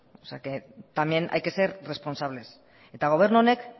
o sea que también hay que ser responsables eta gobernu honek